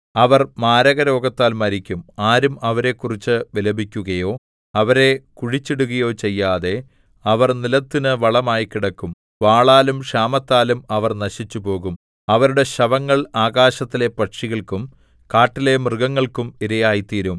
അവർ മാരകരോഗത്താൽ മരിക്കും ആരും അവരെക്കുറിച്ചു വിലപിക്കുകയോ അവരെ കുഴിച്ചിടുകയോ ചെയ്യാതെ അവർ നിലത്തിനു വളമായി കിടക്കും വാളാലും ക്ഷാമത്താലും അവർ നശിച്ചുപോകും അവരുടെ ശവങ്ങൾ ആകാശത്തിലെ പക്ഷികൾക്കും കാട്ടിലെ മൃഗങ്ങൾക്കും ഇരയായിത്തീരും